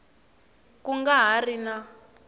ku nga ha ri na